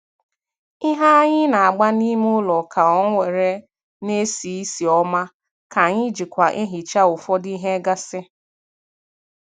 Ihe anyị na-agba n'ime ụlọ ka ọ were na-esi ísì ọma ka anyị jikwa ehicha ụfọdụ ihe gasị.